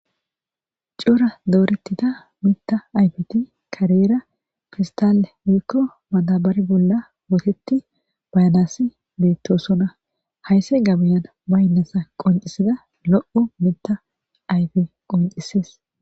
coora dooretida mita ayfiti kareera fistalle wiikko madabar bolla wotetti bayanasi beettosona haysse gabiyan baynnasa qoncisida lo7u mita ayfi qoncisees